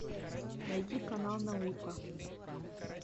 найди канал наука